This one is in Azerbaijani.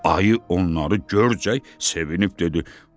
Ayı onları görcək sevinib dedi: